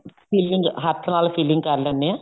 filing ਹੱਥ ਨਾਲ filing ਕਰ ਲੈਂਨੇ ਆ